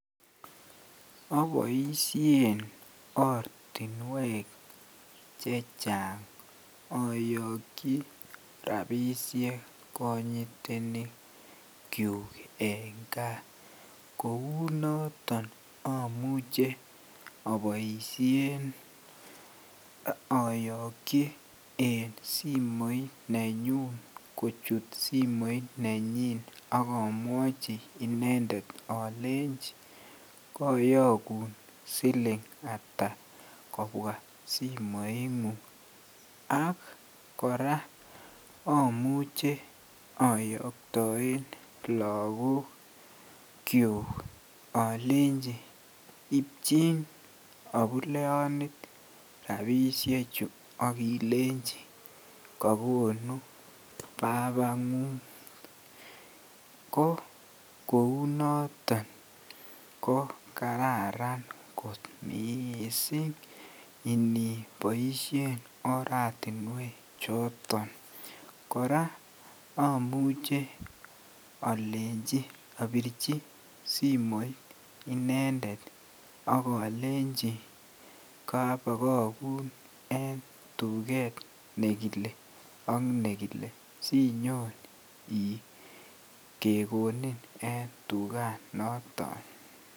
Oboishen ortinwek chechang oyokyi rabishek konyitenikyuk en kaa, kounoton amuche oboishen oyokyi en simoit nenyun kochut simoit nenyin ak omwochi inendet olenchi koyokun silingata kobwa simoingung ak kora omuche oyoktoen kiakikyuk olenchi ibchin obuleyonit rabishechu ak ilenchi kokonu babangung ko kounoton ko kararan kot mising iniiboishen oratinwe choton kora omuche olenchi obirchi simoit inendet ak olenchi kobokokun en tuket nekile ak nekile siinyon kekonin en tukanoton.